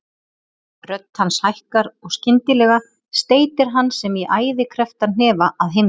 Rödd hans hækkar og skyndilega steytir hann sem í æði krepptan hnefa að himni.